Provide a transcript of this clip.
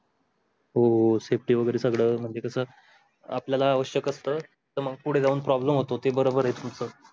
हो city वगैर सगळं म्हणजे कस अपल्यालाआवश्यक आसत त मग पुढे जाऊन problem होतो ते बरोबर आहे तुमच